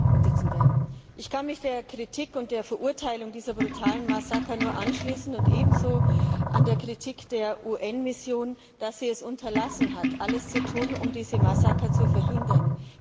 Herr Präsident! Ich kann mich der Kritik und der Verurteilung dieser brutalen Massaker nur anschließen und ebenso der Kritik an der UN Mission, dass sie es unterlassen hat, alles zu tun, um diese Massaker zu verhindern.